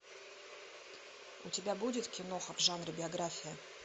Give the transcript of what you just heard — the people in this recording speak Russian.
у тебя будет киноха в жанре биография